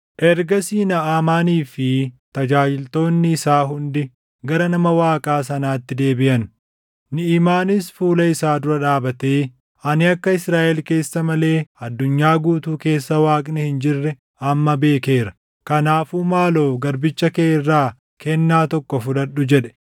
Ergasii Naʼamaanii fi tajaajiltoonni isaa hundi gara nama Waaqaa sanaatti deebiʼan. Niʼimaanis fuula isaa dura dhaabatee, “Ani akka Israaʼel keessa malee addunyaa guutuu keessa Waaqni hin jirre amma beekeera. Kanaafuu maaloo garbicha kee irraa kennaa tokko fudhadhu” jedhe.